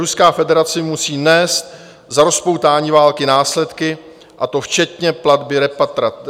Ruská federace musí nést za rozpoutání války následky, a to včetně platby reparací.